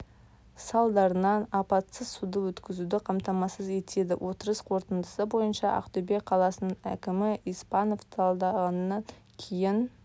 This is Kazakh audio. салдарынан апатсыз суды өткізуді қамтамасыз етеді отырыс қорытындысы бойынша ақтөбе қаласының әкімі испанов талдағаннан кейін